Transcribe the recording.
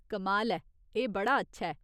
कमाल ऐ, एह् बड़ा अच्छा ऐ।